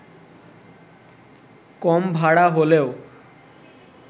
কম ভাড়া হলেও